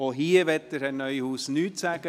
Herr Neuhaus möchte auch nichts dazu sagen.